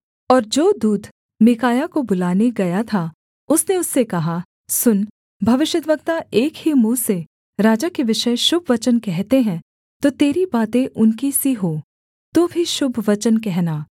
और जो दूत मीकायाह को बुलाने गया था उसने उससे कहा सुन भविष्यद्वक्ता एक ही मुँह से राजा के विषय शुभ वचन कहते हैं तो तेरी बातें उनकी सी हों तू भी शुभ वचन कहना